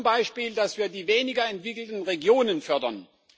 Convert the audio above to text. Zum Beispiel, dass wir die weniger entwickelten Regionen fördern.